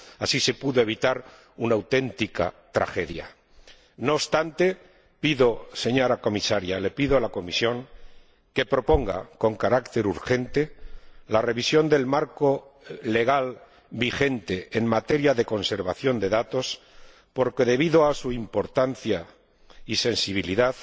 Así se pudo evitar una auténtica tragedia. No obstante, señora Comisaria, pido a la Comisión que proponga, con carácter urgente, la revisión del marco legal vigente en materia de conservación de datos, porque, debido a su importancia y sensibilidad,